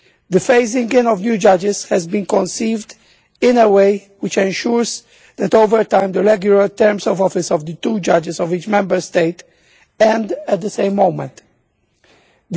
The phasing in of new judges has been conceived in a way which ensures that over time the regular terms of office of the two judges of each Member State end at the same time.